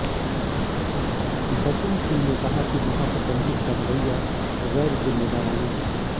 बचन सिंह ने कहा कि महाप्रबंधक का रवैया गैर जिम्मेदारना है